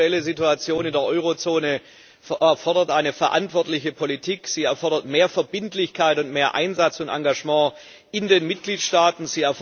Die aktuelle Situation in der Eurozone vor Ort fordert eine verantwortliche Politik, sie erfordert mehr Verbindlichkeit und mehr Einsatz und Engagement in den Mitgliedstaaten.